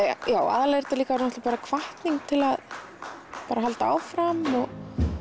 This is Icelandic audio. aðallega er þetta hvatning til að halda áfram og